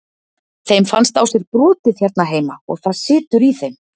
Þeim fannst á sér brotið hérna heima og það situr í þeim.